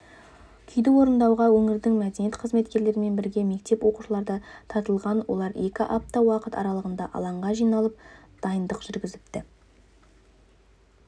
күйді орындауға өңірдің мәдениет қызметкерлерімен бірге мектеп оқушылары да тартылған олар екі апта уақыт аралығында алаңға жиналып дайындық жүргізіпті